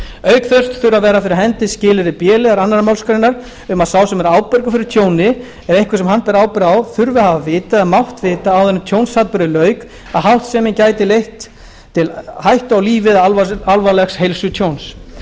auk þess þurfa að vera fyrir hendi skilyrði b liðar annarrar málsgreinar um að sá sem ábyrgur er fyrir tjóni eða einhver sem hann ber ábyrgð á þurfi að hafa vitað eða mátt vita áður en tjónsatburði lauk að háttsemin gæti leitt til hættu á lífi eða alvarlegs heilsutjóns